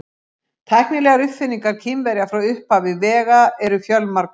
Tæknilegar uppfinningar Kínverja frá upphafi vega eru fjölmargar.